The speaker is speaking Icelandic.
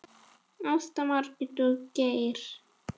Ásta, Margrét og Geir.